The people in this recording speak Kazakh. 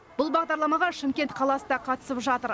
бұл бағдарламаға шымкент қаласы да қатысып жатыр